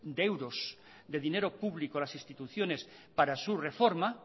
de euros de dinero público a las instituciones para su reforma